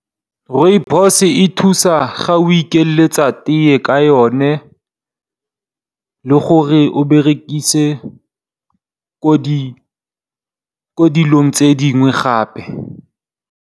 Rooibos e thusa ga o ikeletsa tee ka yone le gore o e berekise mo dilo tse dingwe gape.